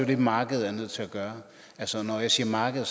det markedet er nødt til at gøre når jeg siger marked